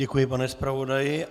Děkuji, pane zpravodaji.